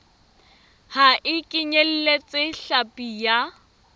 ha e kenyeletse hlapi ya